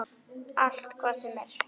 Allt, hvað sem er.